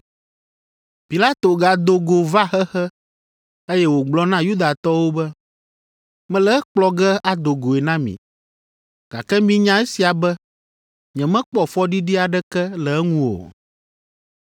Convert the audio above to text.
Pilato gado go va xexe, eye wògblɔ na Yudatɔwo be, “Mele ekplɔ ge ado goe na mi, gake minya esia be nyemekpɔ fɔɖiɖi aɖeke le eŋu o.”